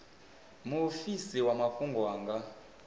muofisi wa mafhungo a nga